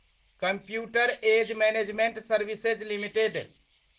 computer age management services limited